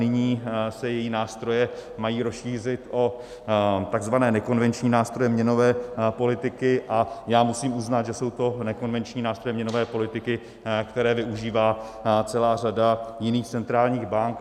Nyní se její nástroje mají rozšířit o takzvané nekonvenční nástroje měnové politiky a já musím uznat, že jsou to nekonvenční nástroje měnové politiky, které využívá celá řada jiných centrálních bank.